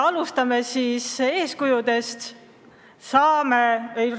Alustame siis eeskuju andmisega!